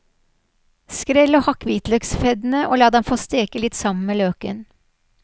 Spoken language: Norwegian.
Skrell og hakk hvitløksfeddene og la dem få steke litt sammen med løken.